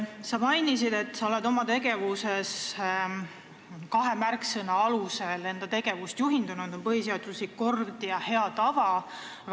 Sa mainisid, et oled oma tegevuses juhindunud kahest märksõnast, need on põhiseaduslik kord ja head tavad.